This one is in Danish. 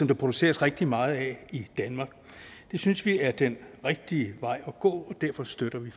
der produceres rigtig meget af i danmark det synes vi er den rigtige vej at gå og derfor støtter vi